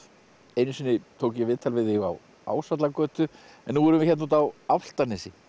einu sinni tók ég viðtal við þig á Ásvallagötu en nú erum við hérna úti á Álftanesi